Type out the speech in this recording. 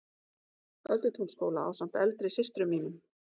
Öldutúnsskóla ásamt eldri systrum mínum.